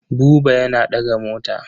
Buba yana ɗaga mota.